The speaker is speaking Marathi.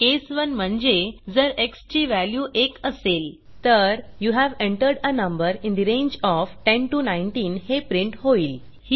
केस 1 म्हणजे जर एक्स ची व्हॅल्यू 1 असेल तर you have entered a number in the range of 10 19 हे प्रिंट होईल